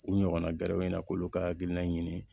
U ɲɔgɔnna gɛrɛ u na k'olu ka hakilina ɲini